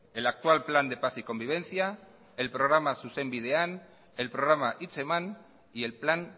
el actual plan de paz y convivencia el programa zuzenbidean el programa hitzeman y el plan